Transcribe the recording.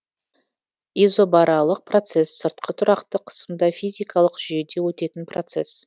изобаралық процесс сыртқы тұрақты қысымда физикалық жүйеде өтетін процесс